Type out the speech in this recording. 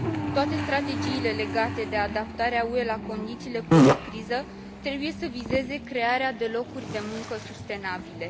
Toate strategiile legate de adaptarea UE la condițiile post criză trebuie să vizeze crearea de locuri de muncă sustenabile.